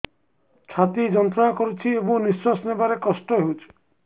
ଛାତି ଯନ୍ତ୍ରଣା କରୁଛି ଏବଂ ନିଶ୍ୱାସ ନେବାରେ କଷ୍ଟ ହେଉଛି